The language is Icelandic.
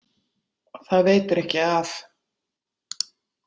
Það veitir ekki af.